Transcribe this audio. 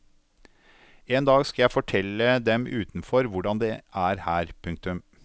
En dag skal jeg fortelle dem utenfor hvordan det er her. punktum